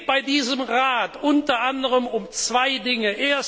Es geht bei diesem Rat unter anderem um zwei Dinge.